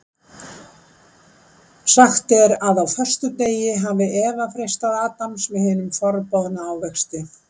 Sagt er að á föstudegi hafi Eva freistað Adams með hinum forboðna ávexti.